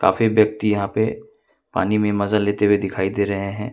काफी व्यक्ति यहां पे पानी में मजा लेते हुए दिखाई दे रहे हैं।